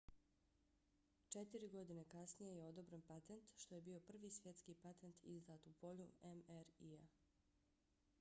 četiri godine kasnije je odobren patent što je bio prvi svjetski patent izdat u polju mri-a